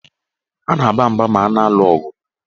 A na-aba mba ma a na-alụ ọgụ.